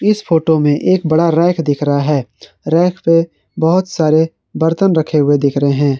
इस फोटो में एक बड़ा रैक दिख रहा है रैक पे बहोत सारे बर्तन रखे हुए दिख रहे हैं।